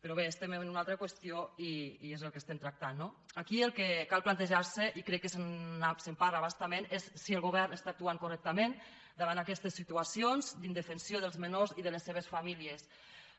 però bé estem en una altra qüestió i és el que estem tractant no aquí el que cal plantejar se i crec que se’n parla a bastament és si el govern està actuant correctament davant d’aquestes situacions d’indefensió dels menors i de les seves famílies